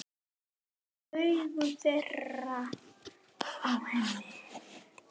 Augu þeirra á henni.